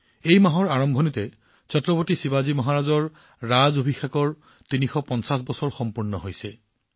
এই মাহৰ আৰম্ভণিতে ছত্ৰপতি শিৱাজী মহাৰাজৰ ৰাজ অভিষেকৰ ৩৫০ বছৰ সম্পূৰ্ণ হৈছে